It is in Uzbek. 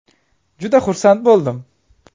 Juda xursand bo‘ldim.